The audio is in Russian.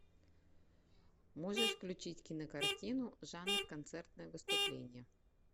можешь включить кинокартину жанр концертное выступление